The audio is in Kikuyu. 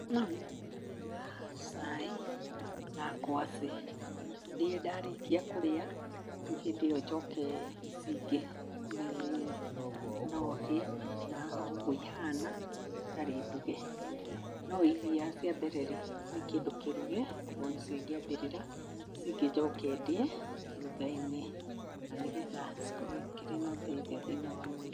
No nyambĩrĩre na cai na ngwacĩ, ndĩe, ndarĩkia kũrĩa, rĩu hĩndĩ ĩyo njoke ici ingĩ nĩ no ndĩe na oũguo ihana itarĩ nduge. No iria cia mbere rĩ, nĩ kĩndũ kĩruge koguo nĩcio ingĩambĩrĩra, ici ingĩ njoke ndĩe thutha-inĩ, na nĩgetha cikorwo ikĩrĩ na ũteithio thĩinĩ wa mwĩrĩ.